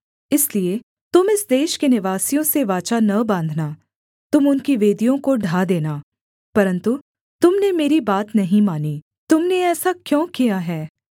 इसलिए तुम इस देश के निवासियों से वाचा न बाँधना तुम उनकी वेदियों को ढा देना परन्तु तुम ने मेरी बात नहीं मानी तुम ने ऐसा क्यों किया है